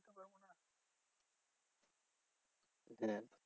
হ্যাঁ